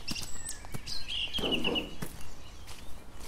тампа